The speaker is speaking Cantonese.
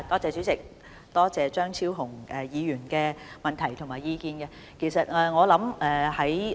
主席，感謝張超雄議員的補充質詢及意見。